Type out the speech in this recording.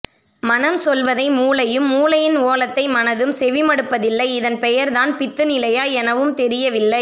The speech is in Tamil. மனம் சொல்வதை மூளையும் மூளையின் ஓலத்தை மனதும் செவிமடுப்பதில்லை இதன் பெயர்தான் பித்துநிலையா எனவும் தெரியவில்லை